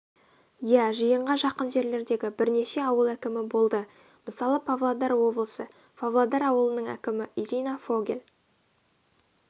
иә жиынға жақын жерлердегі бірнеше ауыл әкімі болды мысалы павлодар облысы павлодар ауылының әкімі ирина фогель